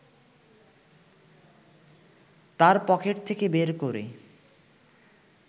তাঁর পকেট থেকে বের করে